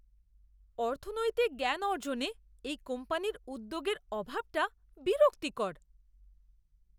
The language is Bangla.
অর্থনৈতিক জ্ঞান অর্জনে এই কোম্পানির উদ্যোগের অভাবটা বিরক্তিকর।